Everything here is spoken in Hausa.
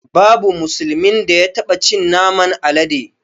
Babu musulmin da ya taɓa cin naman alade